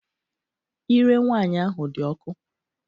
Ire nwaanyị ahụ dị ọkụ.